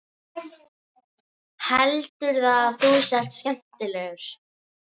Heldurðu að þú sért skemmtilegur?